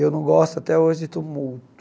Eu não gosto, até hoje, de tumulto.